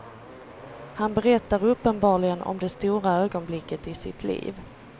Han berättar uppenbarligen om det stora ögonblicket i sitt liv.